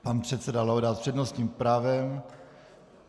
Pan předseda Laudát s přednostním právem.